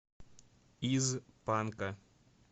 из панка